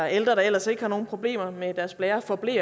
ældre der ellers ikke har nogen problemer med deres blærer får ble